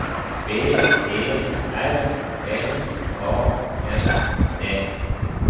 B E R L A N D